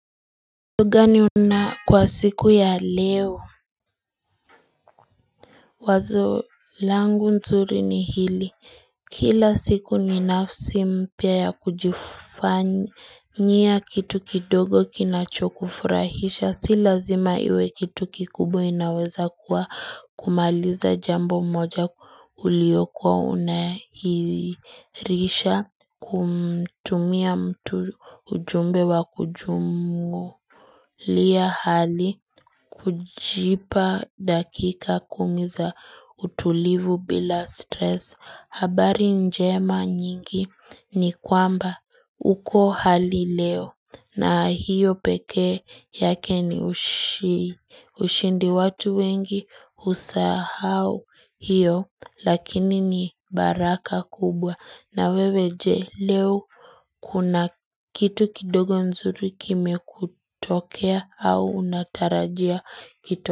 Kwa siku ya leo, wazo langu nzuri ni hili, kila siku ni nafsi mpia ya kujifanyia kitu kidogo kinacho kufurahisha, si lazima iwe kitu kikubwa inaweza kumaliza jambo moja uliokuwa unahirisha, kumtumia mtu ujumbe wa kujumulia hali, kujipa dakika kumiza utulivu bila stress habari njema nyingi ni kwamba uko hali leo na hiyo peke yake ni ushindi watu wengi usahau hiyo Lakini ni baraka kubwa na wewe je leo kuna kitu kidogo nzuri kime kutokea au unatarajia kitu.